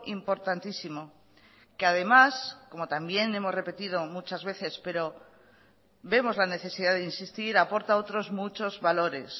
importantísimo que además como también hemos repetido muchas veces pero vemos la necesidad de insistir aporta otros muchos valores